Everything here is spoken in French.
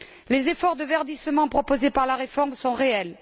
Les efforts de verdissement proposés par la réforme sont réels.